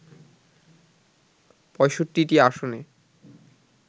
৬৫টি আসনে